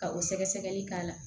Ka o sɛgɛsɛgɛli k'a la